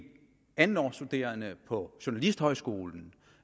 andetårsstuderende på journalisthøjskolen